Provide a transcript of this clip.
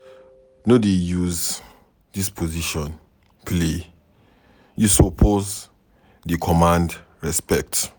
No dey use dis position play, you suppose dey command respect.